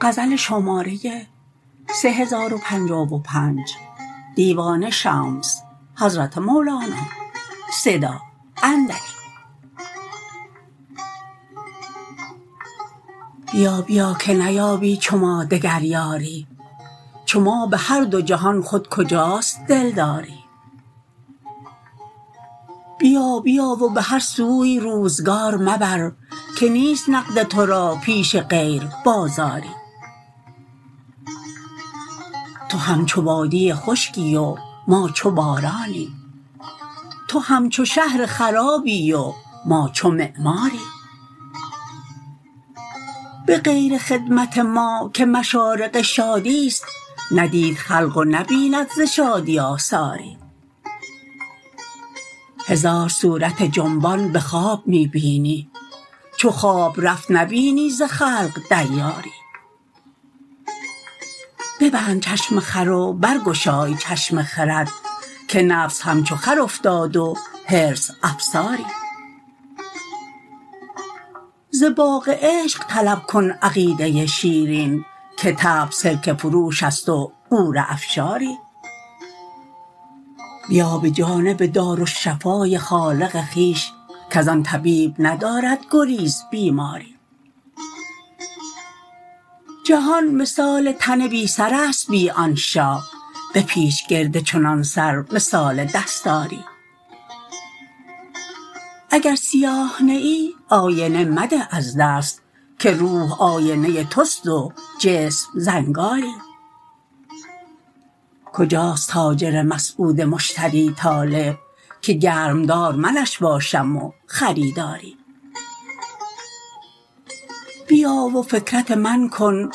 بیا بیا که نیابی چو ما دگر یاری چو ما به هر دو جهان خود کجاست دلداری بیا بیا و به هر سوی روزگار مبر که نیست نقد تو را پیش غیر بازاری تو همچو وادی خشکی و ما چو بارانی تو همچو شهر خرابی و ما چو معماری به غیر خدمت ما که مشارق شادیست ندید خلق و نبیند ز شادی آثاری هزار صورت جنبان به خواب می بینی چو خواب رفت نبینی ز خلق دیاری ببند چشم خر و برگشای چشم خرد که نفس همچو خر افتاد و حرص افساری ز باغ عشق طلب کن عقیده شیرین که طبع سرکه فروشست و غوره افشاری بیا به جانب دارالشفای خالق خویش کز آن طبیب ندارد گریز بیماری جهان مثال تن بی سرست بی آن شاه بپیچ گرد چنان سر مثال دستاری اگر سیاه نه ای آینه مده از دست که روح آینه توست و جسم زنگاری کجاست تاجر مسعود مشتری طالع که گرمدار منش باشم و خریداری بیا و فکرت من کن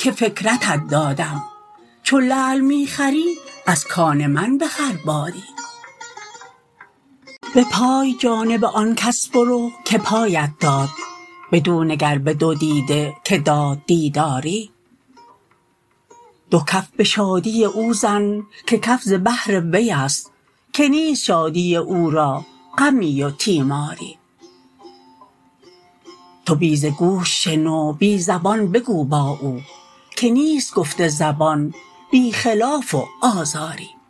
که فکرتت دادم چو لعل می خری از کان من بخر باری به پای جانب آن کس برو که پایت داد بدو نگر به دو دیده که داد دیداری دو کف به شادی او زن که کف ز بحر ویست که نیست شادی او را غمی و تیماری تو بی ز گوش شنو بی زبان بگو با او که نیست گفت زبان بی خلاف و آزاری